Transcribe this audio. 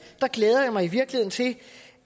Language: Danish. glæder jeg mig i virkeligheden til